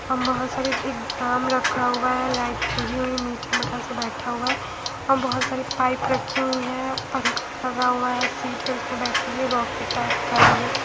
हम बहोत सारी एक ड्राम रखा हुआ है लाइट लगी हुई मीटर बैठा हुआ है अ बहोत सारी पाइप रखी हुई है पंखा लगा हुआ है सीट है उसपे बैठने के लिए रॉकेट टाइप का है ये--